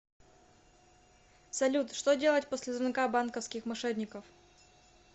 салют что делать после звонка банковских мошенников